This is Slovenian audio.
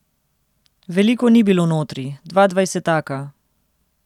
Veliko ni bilo notri, dva dvajsetaka.